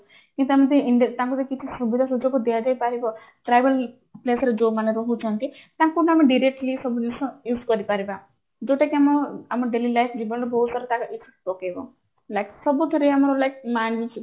କି ସେମିତି ତାଙ୍କୁ ବି କିଛି ସୁବିଧା ସୁଯୋଗ ଦିଆଯାଇପାରିବା tribal place ରେ ଯୋଉମାନେ ରହୁଛନ୍ତି ତାଙ୍କୁ ମାନେ ଆମେ directly ସବୁ ଜିନିଷ use କରିପାରିବା ଯୋଉଟା କି ଆମ ଆମ daily life ଜୀବନରେ ବହୁତ ସାରା ତାର effect ପକେଇବ like ସବୁଥିରେ ଆମର like